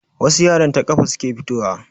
Wasu yaran ta kafa suke fito wa.